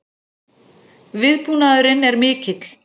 Viðbúnaðurinn er mikill